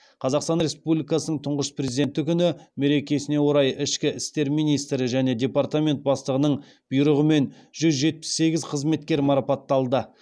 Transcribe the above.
қазақстан республикасының тұңғыш президенті күні мерекесіне орай ішкі істер министрі және департамент бастығының бұйрығымен жүз жетпіс сегіз қызметкер марапатталды